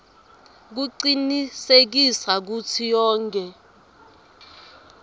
kucinisekisa kutsi yonkhe